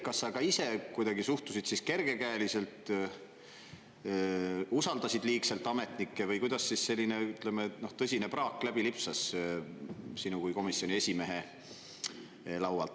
Kas sa ka ise kuidagi suhtusid kergekäeliselt, usaldasid liigselt ametnikke või kuidas selline tõsine praak läbi lipsas sinu kui komisjoni esimehe laualt?